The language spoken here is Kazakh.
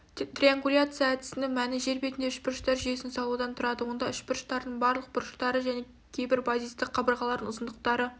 триангуляция әдісінің мәні жер бетінде үшбұрыштар жүйесін салудан тұрады онда үшбұрыштардың барлық бұрыштары және кейбір базистік қабырғалардың ұзындықтары